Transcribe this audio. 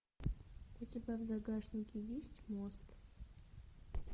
у тебя в загашнике есть мост